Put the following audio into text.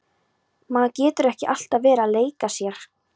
Maður getur ekki alltaf verið að leika sér.